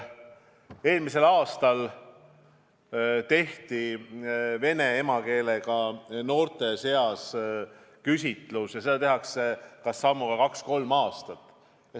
Eelmisel aastal tehti vene emakeelega noorte seas küsitlus – neid tehakse sammuga kaks-kolm aastat.